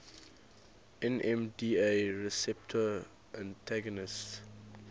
nmda receptor antagonists